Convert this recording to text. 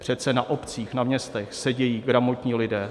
Přece na obcích, na městech sedí gramotní lidé.